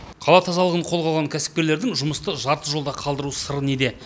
қала тазалығын қолға алған кәсіпкерлердің жұмысты жарты жолда қалдыру сыры неде